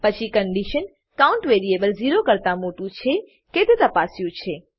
પછી condition count variable zero કરતા મોટું છે કે તે તપાસ્યું છે